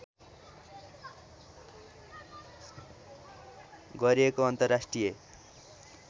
गरिएको अन्तर्राष्ट्रिय